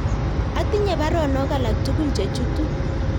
Atinye baruonok alak tugul chechutu